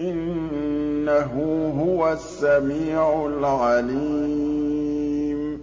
إِنَّهُ هُوَ السَّمِيعُ الْعَلِيمُ